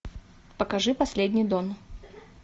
покажи последний дон